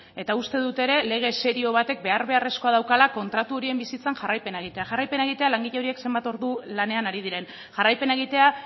eta uste dut ere lege serio batek behar beharrezkoa daukala kontratu horien bizitzan jarraipena egitea jarraipena egitea langile horiek zenbat ordu lanean ari diren jarraipena egitea